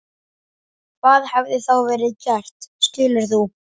Hvað hefði þá verið gert skilur þú?